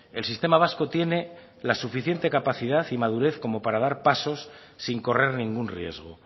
el sistema vasco tiene la suficiente capacidad y madurez para dar pasos sin correr ningún riesgo